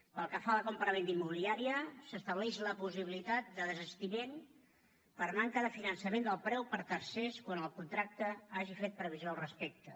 pel que fa a la compravenda immobiliària s’estableix la possibilitat de desistiment per manca de finançament del preu per tercers quan el contracte hagi fet previsió al respecte